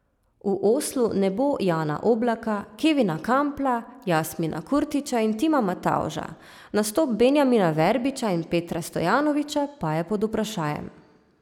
V Oslu ne bo Jana Oblaka, Kevina Kampla, Jasmina Kurtića in Tima Matavža, nastop Benjamina Verbiča in Petra Stojanovića pa je pod vprašajem.